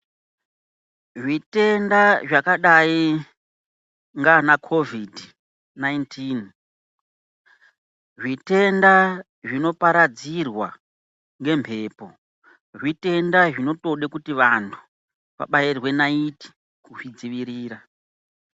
Zvitenda zvakadai ngaanaCOVID 19, zvitenda zvinoparadzirwa ngemhepo, zvitenda zvinotode kuti antu vabairwe naiti kuzvidzivirira.